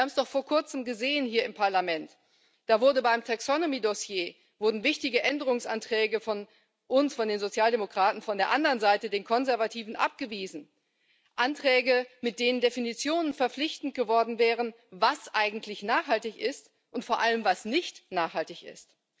Wir haben es doch vor kurzem gesehen hier im Parlament Da wurden beim Taxonomy Dossier wichtige Änderungsanträge von uns, von den Sozialdemokraten, von der anderen Seite, den Konservativen, abgewiesen Anträge, mit denen Definitionen verpflichtend geworden wären, was eigentlich nachhaltig ist, und vor allem, was nicht nachhaltig ist.